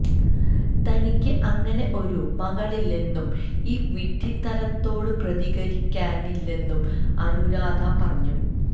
തനിക്ക് അങ്ങനെ ഒരു മകളില്ലെന്നും ഈ വിഡ്ഢിത്തരത്തോട് പ്രതികരിക്കാനില്ലെന്നും അനുരാധ പറഞ്ഞു